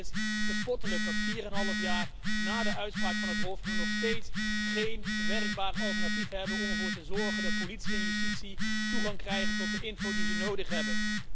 Het is bespottelijk dat we vier en een half jaar na de uitspraak van het Hof nog steeds geen werkbaar alternatief hebben om ervoor te zorgen dat politie en justitie toegang krijgen tot de info die ze nodig hebben.